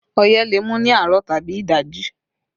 Ọyẹ́ le mú ní àárọ̀ tàbí ìdajì